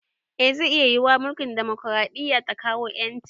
Eh zai iya yiwuwa mulkin demokaraɗiya ta kawo ƴanci